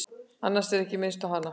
Annars er ekki minnst á hana.